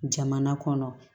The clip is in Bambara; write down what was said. Jamana kɔnɔ